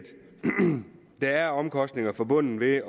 der er omkostninger forbundet med